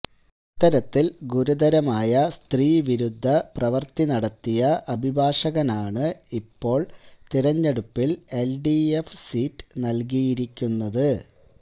ഇത്തരത്തില് ഗുരുതരമായ സ്ത്രീവിരുദ്ധ പ്രവൃത്തി നടത്തിയ അഭിഭാഷകനാണ് ഇപ്പോള് തെരഞ്ഞെടുപ്പില് എല്ഡിഎഫ് സീറ്റ് നല്കിയിരിക്കുന്നത്